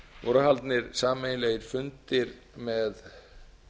voru haldnir sameiginlegir fundir með